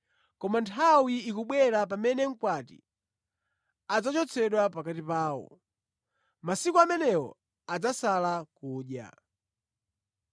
Koma nthawi ikubwera pamene mkwati adzachotsedwa pakati pawo. Masiku amenewo adzasala kudya.”